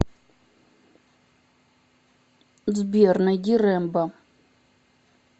сбер найди рембо